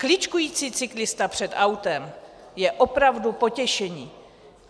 Kličkující cyklista před autem je opravdu potěšení!